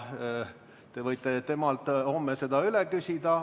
Te võite temalt homme seda üle küsida.